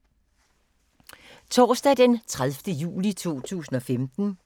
Torsdag d. 30. juli 2015